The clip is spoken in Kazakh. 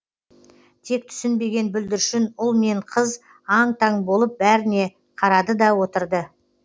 түк түсінбеген бүлдіршін ұл мен қыз аң таң болып бәріне қарады да отырды